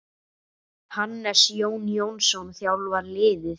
Hannes Jón Jónsson þjálfar liðið.